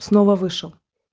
снова вышел